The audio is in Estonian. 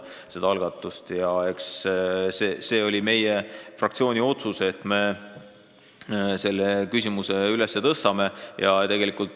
Eks see oli meie fraktsiooni otsus, et me selle küsimuse üles tõstame.